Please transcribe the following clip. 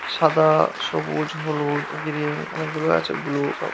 সাদা-আ সবুজ হলুদ গ্রীন । অনেক গুলো আছে। ব্লু সব।